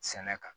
Sɛnɛ kan